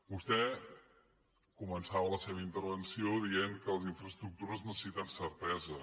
vostè començava la seva intervenció dient que les infraestructures necessiten certesa